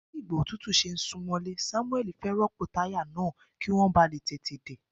Bí ìgbà òtútù ṣe ń sún mọ́lé, Sámúẹ́lì fẹ́ rọ́pò táyà náà kí wọ́n bàa lè tètè dé.